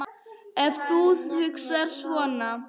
Ef þú hugsar svona.